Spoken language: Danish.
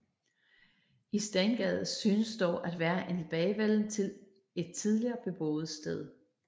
I Stengades synes dog at være en tilbagevenden til et tidligere beboet sted